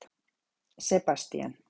Sebastían